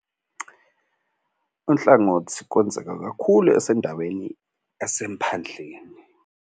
Unhlangothi kwenzeka kakhulu esendaweni esemphandleni.